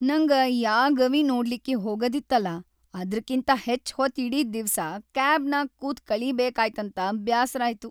ನಂಗ ಯಾ ಗವಿ ನೋಡ್ಲಿಕ್ಕಿ ಹೋಗದಿತ್ತಲಾ ಅದ್ರಕಿಂತಾ ಹೆಚ್ಚ್‌ ಹೊತ್ತ್‌ ಇಡೀ‌ ದಿವ್ಸ ಕ್ಯಾಬ್‌ನ್ಯಾಗ್ ಕೂತ್‌ ಕಳೀಬೇಕಾಯ್ತಂತ ಬ್ಯಾಸ್ರಾಯ್ತು.